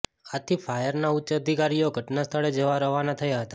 આથી ફાયરના ઉચ્ચ અધિકારીઓ ઘટનાસ્થળે જવા રવાના થયા હતાં